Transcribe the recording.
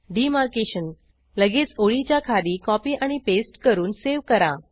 demarcation लगेच ओळीच्या खाली कॉपी आणि पेस्ट करून सेव्ह करा